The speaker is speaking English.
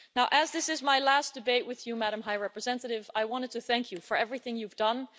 As this is my last debate with you, Madam High Representative, I wanted to thank you for everything you've done.